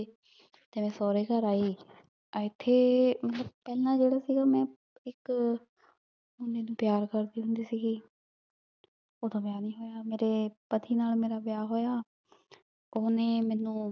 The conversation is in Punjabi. ਤੇ ਮੈਂ ਸੋਰੇ ਘਰ ਆਈ ਏਥੇ ਮਤਲਬ ਪੇਹ੍ਲਾਂ ਜੇਰਾ ਸੀਗਾ ਮੈਂ ਇਕ ਮੁੰਡੇ ਨੂ ਪਯਾਰ ਕਰਦੀ ਹੁੰਦੀ ਸੀਗੀ ਊ ਤਾਂ ਵਿਯਾਹ ਨਹੀ ਹੋਯਾ ਮੇਰੇ ਪਾਤੀ ਨਾਲ ਮੇਰਾ ਵਿਯਾਹ ਹੋਯਾ ਓਹਨੇ ਮੇਨੂ